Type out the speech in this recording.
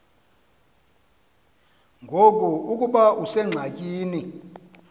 ngoku ukuba usengxakini